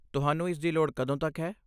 ਤੁਹਾਨੂੰ ਇਸ ਦੀ ਲੋੜ ਕਦੋਂ ਤੱਕ ਹੈ?